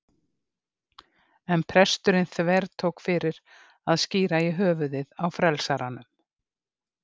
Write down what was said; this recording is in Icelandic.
En presturinn þvertók fyrir að skíra í höfuðið á frelsaranum.